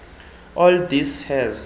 all this has